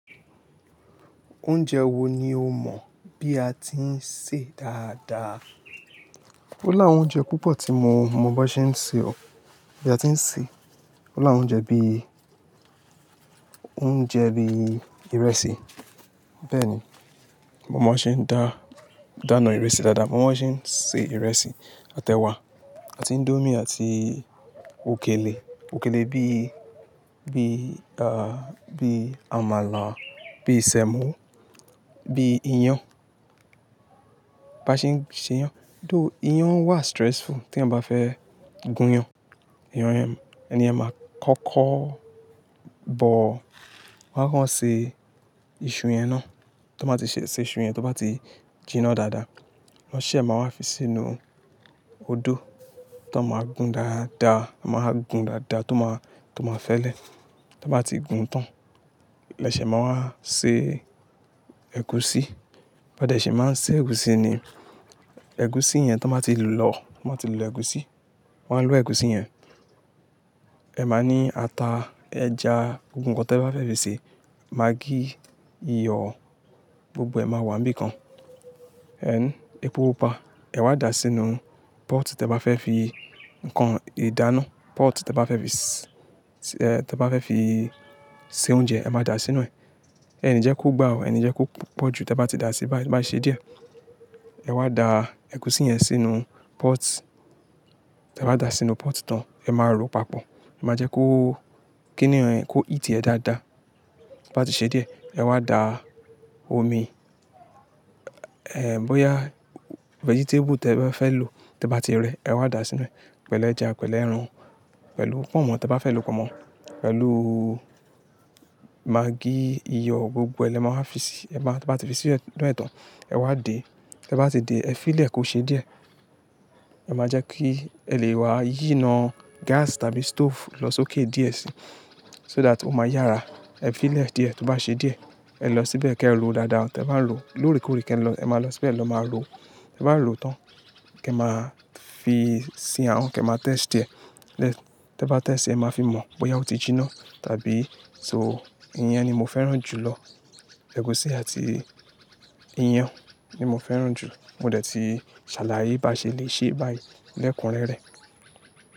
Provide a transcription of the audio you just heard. Oúnjẹ wo ni o mọ̀ bí a ti ń sè dáadáa? Ó láwọn oúnjẹ púpọ̀ tí mo mọ bí wọ́n ṣe ń ṣe o, bí a ti ń sè. Ó láwọn oúnjẹ bí, oúnjẹ bí ìrẹsì. Bẹ́ẹ̀ni, mo mọ bí wọ́n ṣe ń dá, dáná ìrẹsì dáadáa, mo mọ bí wọ́n ṣe ń sè ìrẹsì, àti ẹ̀wà. Àti índómì, àti òkèlè, òkèlè bí, bí, à, bí àmàlà, bí sẹ́mọ̀, bí iyán. Bá ṣe ń ṣe iyán, só iyan wà stressful tí èyàn bá fẹ́ gún iyán. Eeyan yẹn, ẹniyẹn máa kọ́kọ́ bọ̀, wọ́n á kán ṣe iṣu yẹn ná. Tí wọ́n bá ti ṣe iṣu yẹn, to bá ti jiná dáadáa, wọ́n sẹ máa wá fi sínú odó, tan máa gún dáadáa, wọ́n máa gún dáadáa to máa, to máa fẹ́lẹ̀. Tí wọ́n bá ti gún tán, lẹ́sẹ̀ máa wá ṣe ẹ̀gúsí. Ó dẹ̀ sì máa ń sè ẹ̀gúsí ni. Ẹ̀gúsí yẹn tí wọ́n bá ti lọ, tí wọ́n bá ti lò ẹ̀gúsí, wọ́n á lo ẹ̀gúsí yẹn. Ẹ máa ní ata, ẹja, gbogbo nnkan tí ẹ bá fẹ́ fi sè, magí, iyọ̀, gbogbo ẹ̀ máa wà níbìkan. Ẹhn, epo pupa, ẹ̀ wá da sínú pot tí ẹ bá fẹ́ fi nkan ìdáná, pot tí ẹ bá fẹ́ fi s-- tí ẹ bá fẹ́ fi sè oúnjẹ, ẹ máa da sínú ẹ̀. Ẹni jẹ́ kó gbà ọ, ẹni jẹ́ kó pọ̀jù tí ẹ bá ti dá sí bá, to bá ti ṣe díẹ̀. Ẹ wá da ẹ̀gúsí yẹn sínú pot, ti ẹ bá da sínú pot tán, ẹ máa ro papọ̀. Ẹ máa jẹ́ kó kí nínú ẹ̀ kó heat ẹ dáadáa. To bá tí ṣe díẹ̀, ẹ wá da omi, ehn, bóyá vegetable tí ẹ bá fẹ́ lò tí ẹ bá ti rẹ, ẹ wá da sínú ẹ̀ pẹ̀lú ẹja, pẹ̀lú ẹran, pẹ̀lú pọ̀nmọ́ tí ẹ bá fẹ́ lò pọ̀nmọ́, pẹ̀lú magí, iyọ̀, gbogbo ẹ̀ lẹ máa wa fi sí, ẹ máa, tí ẹ bá ti fi sí inú ẹ̀ tán, ẹ wá dè. Tẹ bá ti dè, ẹ fí ì lẹ̀ kó ṣe díẹ̀. Ẹ máa jẹ́ kí ẹ lè wá yì ína gas tàbí stove lọ sókè díẹ̀ sí, so that ó máa yára. Ẹ fi ì lẹ̀ díẹ̀, tó bá ṣe díẹ̀, ẹ lọ síbẹ̀ kí ẹ ro dáadáa. Tí ẹ bá ń ro, lóòrèkóòrè kí ẹ lọ, ẹ máa lọ síbẹ̀ lọ máa ro. Tí ẹ bá ro tán, kí ẹ máa fi sì ahón, kí ẹ máa taste ẹ̀. Tí ẹ bá taste, ẹ máa fi mọ̀ bóyá ó ti jiná tàbí so. Iyán ni mo fẹ́ràn jù lọ. Ẹ̀gúsí àti iyán ni mo fẹ́ràn jù. Mò dẹ̀ ti ṣàlàyé bá ṣe lè ṣe báyìí lẹ́kùn rẹ́rẹ́.